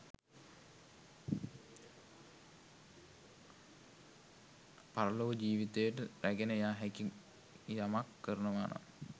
පරලොව ජීවිතයට රැගෙන යා හැකි යමක් කරනවා නම්